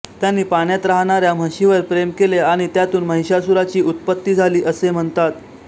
त्यांनी पाण्यात राहणाऱ्या म्हशीवर प्रेम केले आणि त्यातून महिषासुराची उत्पत्ती झाली असे म्हणतात